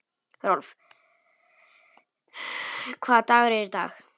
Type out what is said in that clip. Rolf, hvaða dagur er í dag?